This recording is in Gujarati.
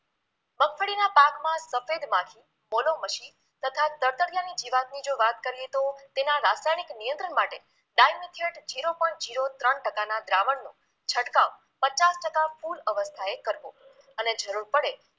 સફેદ માખી પોલોમશી તથા તડતડિયાની જીવાતની જો વાત કરીએ તો તેના રાસાયણિક નિયંત્રણ માટે ડાલમિચિયર્ડ zero point zero ત્રણ ટકાના દ્રાવણનો છંટકાવ પચાસ ટકા કુલ અવસ્થાએ કરવો અને જરૂર પડે